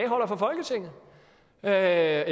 er